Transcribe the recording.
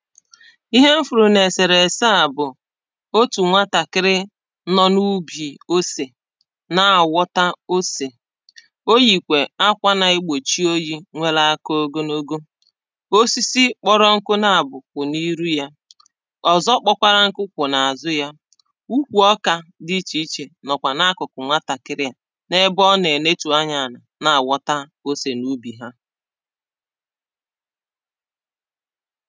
Ihe m fụrụ na eserese a bụ̀ otū nwatakịrị nọ na ubi osè na awọta osè o yikwè akwà na-egbochi oyì nwela aka ogonogo osisi kpọrọnkụ na abọ kwụ na iru yà ọzọ kpọkwarankụ kwụ ná:zụ yà ukwu ọkà dị iche ichè nọkwa na-akụkụ nwatakiri à na-ebe ọ na-enetua anya alà na awọta ose na ubi ha